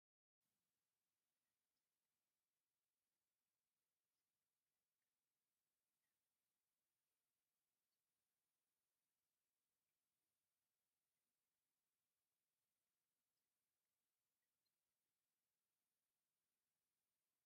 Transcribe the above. ዝተፈላለዩ ሶፍት ዌራት ብዝተፈላለየ ሕብሪን ዲዛይንን ምግላፅ ይከአል እዩ፡፡ ንአብነት ኤፈ ብፌስ ቡክ ፣ኢን ሊነከዲን፣ ቲዊትለርን ቴለግራምን ወዘተ ይርከቡዎም፡፡ እዞም ሶፍት ዌራት ንምንታይ ይጠቅሙ?